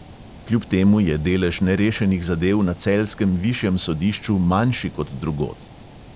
Kljub temu je delež nerešenih zadev na celjskem višjem sodišču manjši kot drugod.